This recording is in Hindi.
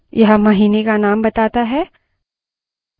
यह महीने का name बताता है